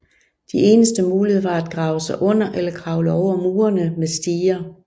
De eneste muligheder var at grave sig under eller kravle over murene med stiger